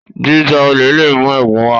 jíjà olè lè mú ègún wá